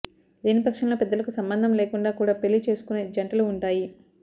లేనిపక్షంలో పెద్దలకు సంబంధం లేకుండా కూడా పెళ్లి చేసుకునే జంటలు ఉంటాయి